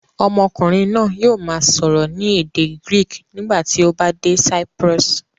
Ọmọkùnrin náà yóò máa sọ̀rọ̀ ní èdè Greek nígbà tí ó bá dé Cyprus.